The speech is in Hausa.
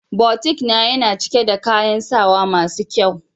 "boutique"na, Yana cike da kayan sawa masu kyau.